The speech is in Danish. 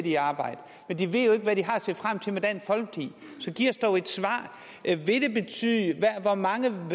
i arbejde men de ved jo ikke hvad de har at se frem til med dansk folkeparti så giv os dog et svar hvad vil det betyde hvor mange